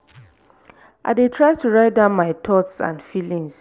i dey try to write down my thoughts and feelings.